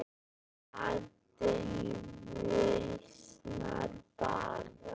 Vandinn versnar bara.